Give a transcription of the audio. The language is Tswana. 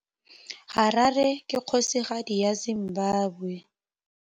Harare ke kgosigadi ya Zimbabwe.